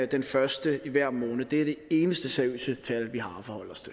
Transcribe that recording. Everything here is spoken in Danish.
den første i hver måned det er det eneste seriøse tal